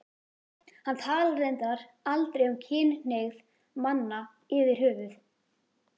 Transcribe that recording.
Hann talar reyndar aldrei um kynhneigð manna yfirhöfuð.